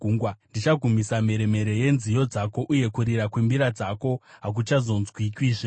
Ndichagumisa mheremhere yenziyo dzako, uye kurira kwembira dzako hakuchazonzwikwazve.